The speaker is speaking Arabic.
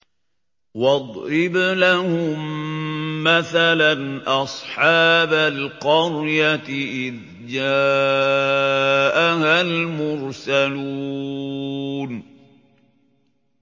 وَاضْرِبْ لَهُم مَّثَلًا أَصْحَابَ الْقَرْيَةِ إِذْ جَاءَهَا الْمُرْسَلُونَ